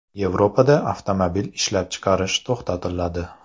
Yevropada avtomobil ishlab chiqarish to‘xtatiladi.